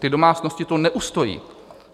Ty domácnosti to neustojí!